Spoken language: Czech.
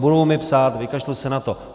Budou mi psát, vykašlu se na to.